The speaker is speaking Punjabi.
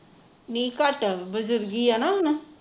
ਨੀ ਘਟ ਬੁਜੁਰਗੀ ਆ ਨਾ ਹੁਣ